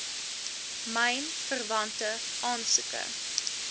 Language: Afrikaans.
myn verwante aansoeke